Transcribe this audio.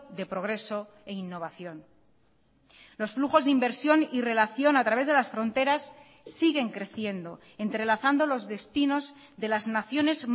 de progreso e innovación los flujos de inversión y relación a través de las fronteras siguen creciendo entrelazando los destinos de las naciones